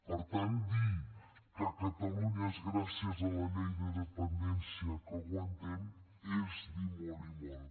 per tant dir que a catalunya és gràcies a la llei de dependència que aguantem és dir molt i molt